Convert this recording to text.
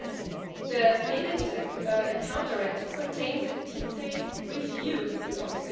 Nevertheless, the Payment Account Directive contains a detailed review clause.